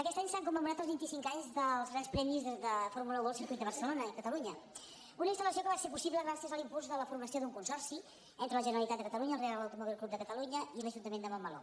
aquest any s’han commemorat els vint i cinc anys dels grans premis de fórmula un al circuit de barcelona catalunya una instalpuls de la formació d’un consorci entre la generalitat de catalunya el reial automòbil club de catalunya i l’ajuntament de montmeló